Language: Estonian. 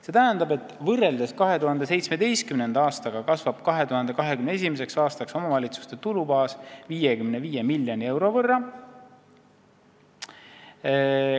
See tähendab, et võrreldes 2017. aastaga kasvab 2021. aastaks omavalitsuste tulubaas 5,5 miljoni euro võrra.